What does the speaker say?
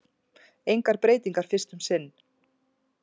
Engar breytingar fyrst um sinn